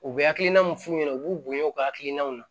U bɛ hakilina min f'u ɲɛna u b'u bonya u ka hakilinaw na